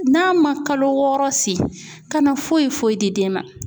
N'a man kalo wɔɔrɔ si kana foyi foyi di den ma.